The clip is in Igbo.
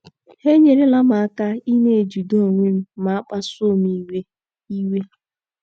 Ha enyerela m aka ịna - ejide onwe m ma a kpasuo m iwe iwe.